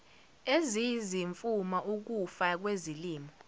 eziyizimfuma ukufa kwezilimo